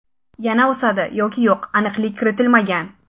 Yana o‘sadi yoki yo‘q, aniqlik kiritilmagan.